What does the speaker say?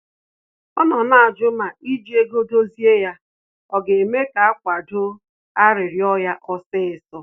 Ọ nọ na-ajụ ma iji ego dozie ya ọ ga-eme ka akwado arịrịọ ya osisọ